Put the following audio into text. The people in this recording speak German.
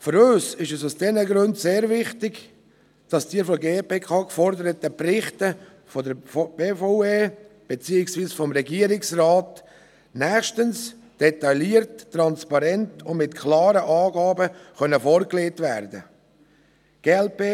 Für uns ist es aus diesen Gründen sehr wichtig, dass die von der GPK geforder ten Berichte nächstens von der BVE beziehungsweise vom Regierungsrat detailliert, transparent und mit klaren Angaben vorgelegt werden können.